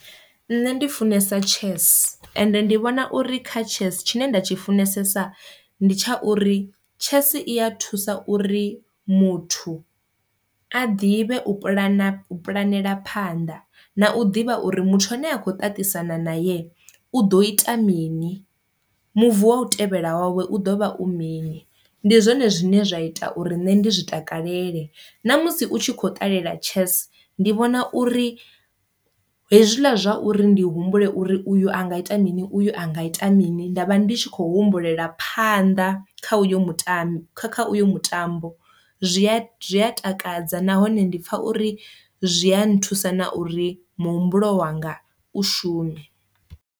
Nṋe ndi funesa chess ende ndi vhona uri kha chess tshine nda tshi funesa ndi tsha uri chess i ya thusa uri muthu a ḓivhe u pulana u pulanela phanḓa, na u ḓivha uri muthu ane a kho ṱaṱisana nae u ḓo ita mini, move wa u tevhela wawe u ḓovha u mini. Ndi zwone zwine zwa ita uri nṋe ndi zwi takalele na musi u tshi kho ṱalela chess ndi vhona uri hezwila zwa uri ndi humbule uri uyu anga ita mini uyu anga ita mini nda vha ndi tshi khou humbulela phanḓa kha uyo mutambo kha uyo mutambo zwi a zwi a takadza nahone ndi pfha uri zwi a nthusa na uri muhumbulo wanga u shume.